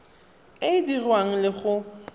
e e dirwang le go